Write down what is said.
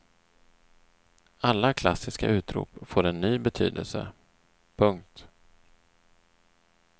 Alla klassiska utrop får en ny betydelse. punkt